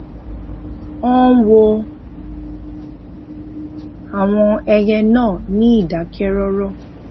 ó ń wo àwọn ẹyẹ náà ní ìdákẹrọrọ